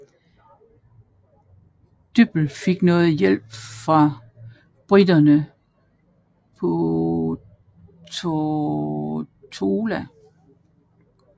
Dyppel fik noget hjælp fra briterne på Tortola